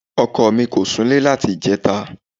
Ọkọ mì kò sunlẹ́ láti ìjẹta.